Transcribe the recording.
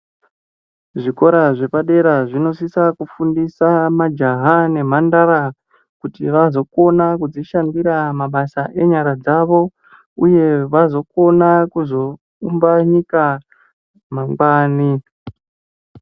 Zvikora zvepadera zvinosisa kufundisa majaha nemhandara kuti azokona kuzvishandira mabasa enyara dzavo uye kuti uzokona kuzoumba nyika mangwani.